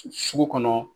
Sugu kɔnɔ